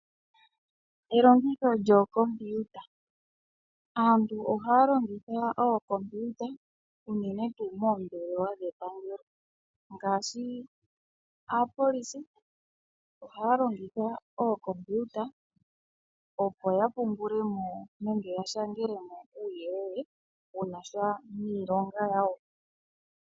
Elongitho lyookompiuta. Aantu ohaya longitha ookompiuta unene tuu moombelewa dhepangelo ngaashi aapolisi ohaya longitha ookompiuta, opo ya pungule mo nenge ya shangele mo uuyelele wu na sha niilonga yawo.